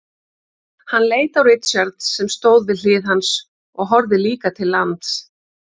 Hann leit á Richard sem stóð við hlið hans og horfði líka til lands.